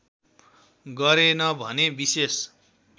गरेन भने विशेष